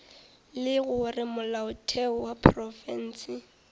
le gore molaotheo wa profense